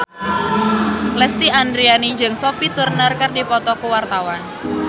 Lesti Andryani jeung Sophie Turner keur dipoto ku wartawan